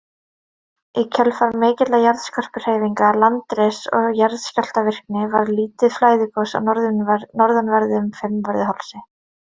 Í kjölfar mikilla jarðskorpuhreyfinga, landriss og jarðskjálftavirkni, varð lítið flæðigos á norðanverðum Fimmvörðuhálsi.